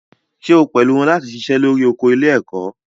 Ṣé o pẹ̀lú wọn láti ṣiṣẹ́ lórí oko ilé-ẹ̀kọ́?